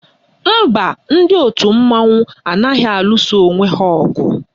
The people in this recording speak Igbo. Mba, ndị òtù mmanwụ anaghị alụsa onwe ha ọgụ